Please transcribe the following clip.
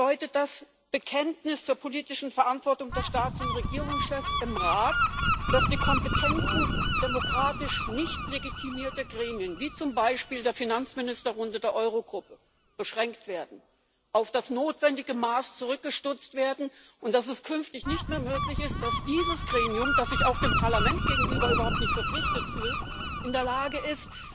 Bedeutet das Bekenntnis zur politischen Verantwortung der Staats und Regierungschefs im Rat, dass die Kompetenzen demokratisch nicht legitimierter Gremien, wie zum Beispiel der Finanzministerrunde der Eurogruppe, beschränkt werden, auf das notwendige Maß zurückgestutzt werden, und dass es künftig nicht mehr möglich ist, dass dieses Gremium, das sich auch dem Parlament gegenüber überhaupt nicht verpflichtet fühlt, in der Lage ist,